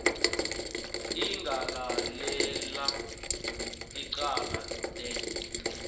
ingalalela icala de